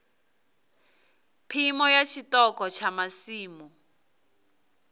phimo ya tshiṱoko tsha masimu